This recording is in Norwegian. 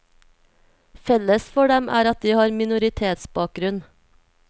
Felles for dem er at de har minoritetsbakgrunn.